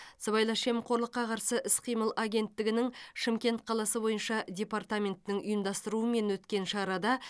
сыбайлас жемқорлыққа қарсы іс қимыл агенттігінің шымкент қаласы бойынша департаментінің ұйымдастыруымен өткен шарада